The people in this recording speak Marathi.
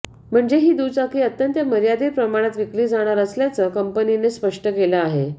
म्हणजे ही दुचाकी अत्यंत मर्यादित प्रमाणात विकली जाणार असल्याचं कंपनीने स्पष्ट केलं आहे